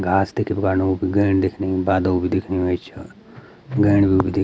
घास तेक भी गडनु गेन दिखनी बादल भी दिखनी वे छ गेण भी --